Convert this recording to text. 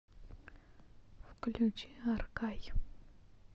включи аркай